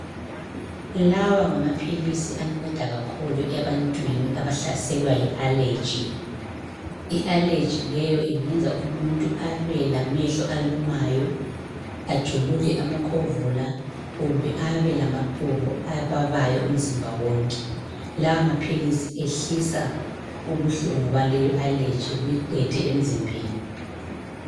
Lawa ngamaphilisi anceda kakhulu ebantwini abahlaselwa yi allergy. I allergy leyo ingenza umuntu abe lamehlo alumayo, ajuluke amakhovula kumbe abe lamaqhubu ababayo umzimba wonke. La maphilisi ehlisa ubuhlungu baleyo allergy buyiqede emzimbeni.